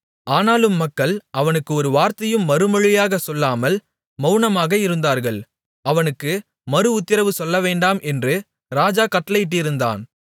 ஆனாலும் மக்கள் அவனுக்கு ஒரு வார்த்தையும் மறுமொழியாகச் சொல்லாமல் மவுனமாக இருந்தார்கள் அவனுக்கு மறுஉத்திரவு சொல்லவேண்டாம் என்று ராஜா கட்டளையிட்டிருந்தான்